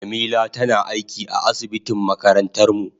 Jamila tana aiki a asibitin makarantar mu.